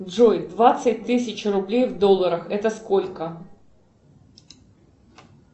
джой двадцать тысяч рублей в долларах это сколько